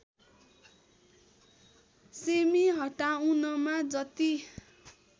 सेमि हटाउनमा जति